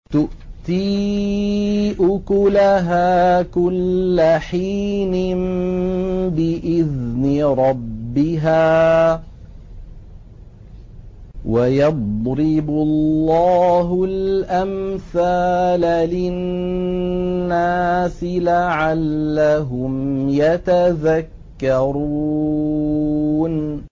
تُؤْتِي أُكُلَهَا كُلَّ حِينٍ بِإِذْنِ رَبِّهَا ۗ وَيَضْرِبُ اللَّهُ الْأَمْثَالَ لِلنَّاسِ لَعَلَّهُمْ يَتَذَكَّرُونَ